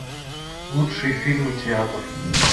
лучшие фильмы театр